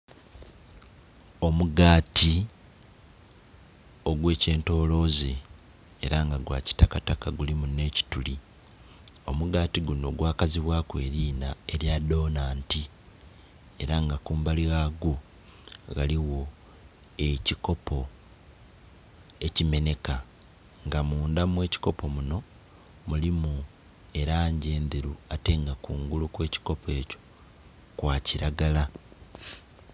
Omugaati ogw'ekintoloze ela nga gwakitakataka gulimu n'ekituli, omugaati guno gwakazibwaku elinha elya donanti. Ela nga kumbali ghagwo ghaligho ekikopo ekimenheka nga mundha mw'ekikopo muno mulimu elangi endheru ate nga kungulu okw'ekikopo ekyo kwa kilagala.